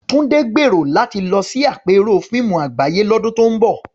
Tunde gbèrò láti lọ sí àpérò fíìmù àgbáyé lọ́dún tó ń bọ̀.